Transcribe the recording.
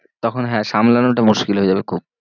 তখন হ্যাঁ সামলানোটা মুশকিল হয়ে যাবে খুব।